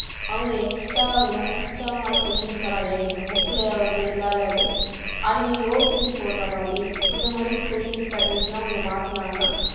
அவங்க extra extra வான question நிரைய கேக்கணும் book ல வந்து இல்லாதது அதுங்க யோசிச்சு போடுற மாதிரி அந்த மாதிரி question pattens எல்லாம் கொஞ்சம் மாத்துனாங்கன்னா